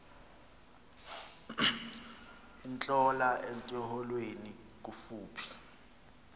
intlola etyholweni kufuphi